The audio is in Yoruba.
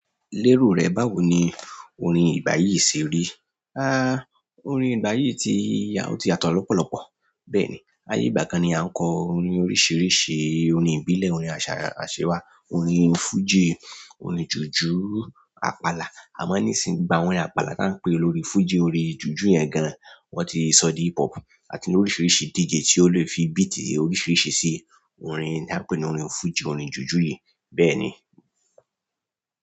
Lérò rẹ, báwo ni orin ìgbà yìí ṣe rí? Ah, orin ìgbà yìí ti, ti yàtọ̀ lọ́pọ̀lọpọ̀. Bẹ́ẹ̀ni, ayé ìgbà kan ni a ń kọ orin oríṣiríṣi, orin ìbílẹ̀, orin àṣà, àṣẹ wa, orin fújì, orin jùjú, àpàlà. Àmá níìsín gbogbo àwọn yẹn àpàlà tá ń pè lórí fújì, orin jùjú yẹn gan-an. Wọ́n ti sọ di hip hop àti oríṣiríṣi díjì tí ó lè fi bíìtì oríṣiríṣi ṣe orin tí a ń pè ní orin fújì, orin jùjú yìí. Bẹ́ẹ̀ ni.